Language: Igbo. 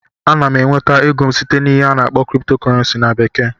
Ana m enweta ego m site n'ihe a na-akpọ "crypto currency" na bekee